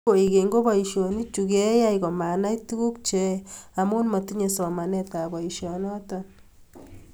Eng kwekeny ko boisionichu keyaei komanai tuguk cheyoei amu motinye somanetab boisionoto